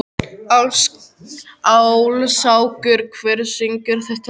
Áslákur, hver syngur þetta lag?